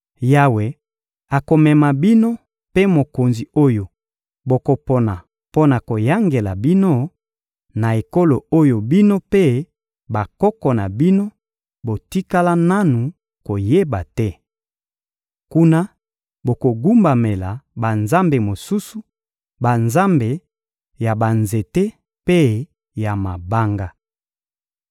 Yawe akomema bino mpe mokonzi oyo bokopona mpo na koyangela bino, na ekolo oyo bino mpe bakoko na bino botikala nanu koyeba te. Kuna bokogumbamela banzambe mosusu: banzambe ya banzete mpe ya mabanga.